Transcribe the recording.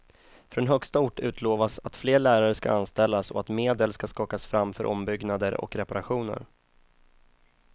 Från högsta ort utlovas att fler lärare ska anställas och att medel ska skakas fram för ombyggnader och reparationer.